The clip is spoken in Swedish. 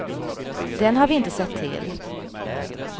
Den har vi inte sett till.